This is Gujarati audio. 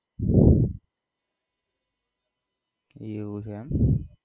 એવું છે એમ